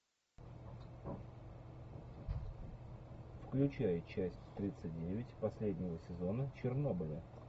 включай часть тридцать девять последнего сезона чернобыля